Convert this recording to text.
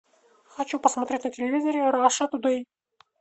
хочу посмотреть на телевизоре раша тудей